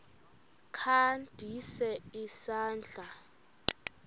kha ndise isandla